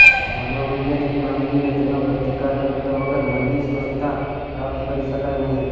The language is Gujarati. મનોવૈજ્ઞાાનિક માંદગીને તેનો પ્રતિકાર કર્યા વગર મનની સ્વસ્થતા પ્રાપ્ત કરી શકાય નહીં